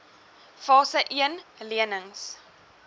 fase een lenings